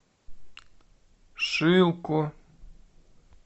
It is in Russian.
шилку